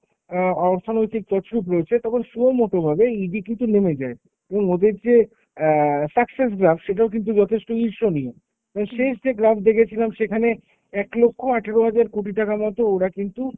অ্যাঁ অর্থনৈতিক তছরুপ রয়েছে, তখন সেইমতোভাবে ED কিন্তু নেমে যায়, এবং ওদের যে অ্যাঁ success graph সেটাও কিন্তু যথেষ্ট দৃশ্যনীয়। এবং শেষ যে graph দেখেছিলাম সেখানে এক লক্ষ আঠেরো হাজার কোটি টাকা মতো ওরা কিন্তু